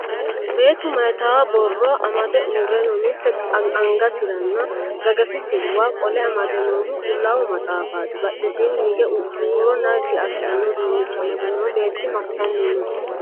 Beettu mayiita borro amade uurre no? Mitte angasirano gagasisiwa qole amade noohu qullaawa maxaafati? Badhesiinni hige huuro naggi assanno uduunnicho amade noo beetti massanni no?